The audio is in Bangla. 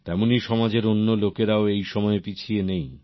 তেমনই সমাজের অন্য লোকেরাও এই সময়ে পিছিয়ে নেই